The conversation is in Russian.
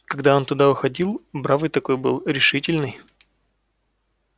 когда он туда уходил бравый такой был решительный